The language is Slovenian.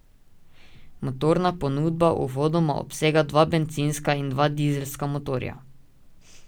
Motorna ponudba uvodoma obsega dva bencinska in dva dizelska motorja.